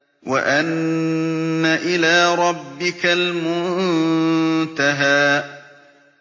وَأَنَّ إِلَىٰ رَبِّكَ الْمُنتَهَىٰ